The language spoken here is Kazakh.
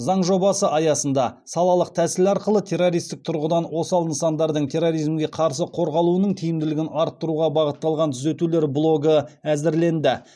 заң жобасы аясында салалық тәсіл арқылы террористік тұрғыдан осал нысандардың терроризмге қарсы қорғалуының тиімділігін арттыруға бағытталған түзетулер блогы әзірленді